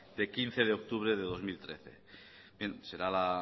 de quince de octubre de dos mil trece bien será